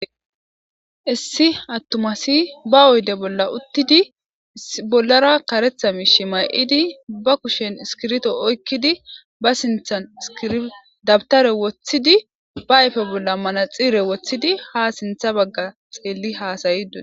Issi atuma ASI ba oyide bola utidi bolara karetha mishe mayidi ba kusheni isikirito oyikidi ba sinthani dabitere wothidi ba ayippete bola manaxire wothidi ha sintha baga hasaide deesi